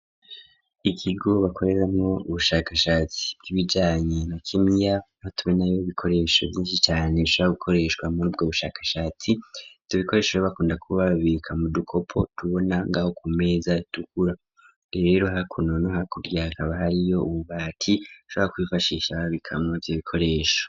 ikigo bakoreramwo ubushakashatsi bw'ibijanye n'ubuvuzi, aho tubona ibikoresho vyinshi cane bashobora gukoresha muri bwo bushakashatsi tubikoresha aho bakunda kuba babika mu dukopo, tubona ngaho ku meza dukura rero hakuno no hakurya hakaba hariyo ububati bashobora kwifashisha babikamwo ivyo bikoresho.